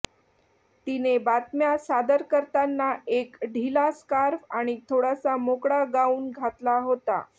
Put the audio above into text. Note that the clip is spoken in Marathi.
तिने बातम्या सादर करताना एक ढिला स्कार्फ आणि थोडासा मोकळा गाऊन घातला होता